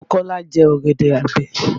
Ọ̀bọ Kọ́lá jẹ ọ̀gẹ̀dẹ̀ àgbẹ̀